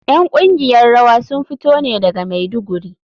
’Yan kungiyar rawa sun fito ne daga Maiduguri.